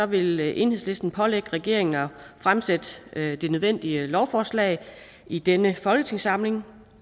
vil enhedslisten pålægge regeringen at fremsætte de nødvendige lovforslag i denne folketingssamling